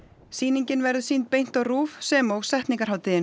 sýningin verður sýnd beint á RÚV sem og